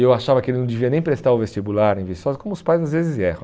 Eu achava que ele não devia nem prestar o vestibular em Viçosa, como os pais às vezes erram.